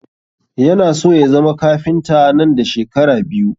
Ya na so ya zama kafinta nan da shekara biyu